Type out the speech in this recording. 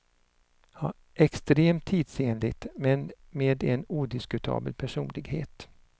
Extremt tidsenligt, men med en odiskutabel personlighet.